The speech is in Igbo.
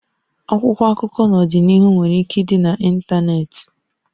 Akwụkwọ akụkọ n'ọdịnihu nwere ike ịdị na ntanetị